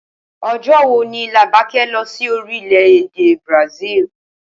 O̩jó̩ wo ni Làbaké̩ lo̩ sí orílè-èdè Brasil?